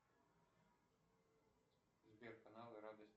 сбер каналы радость